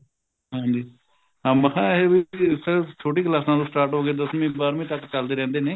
ਹਾਂਜੀ ਹਾਂ ਮੈਂ ਕਿਹਾ ਇਹ ਵੀ ਛੋਟੀ ਕਲਾਸਾਂ ਤੋਂ start ਹੋ ਕੇ ਦਸਵੀੰ ਬਾਰਵੀ ਤੱਕ ਚੱਲਦੇ ਰਹਿੰਦੇ ਨੇ